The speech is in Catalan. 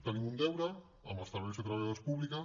tenim un deure amb els treballadors i treballadores públics